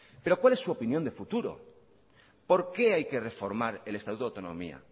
pero cuál es su opinión de futuro por qué hay que reformar el estatuto de autonomía